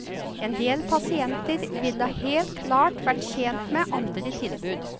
En del pasienter ville helt klart vært tjent med andre tilbud.